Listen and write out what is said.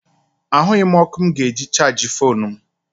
Ahụghị m ọkụ mụ ga-eji chaajị foonu m.